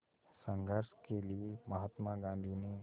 संघर्ष के लिए महात्मा गांधी ने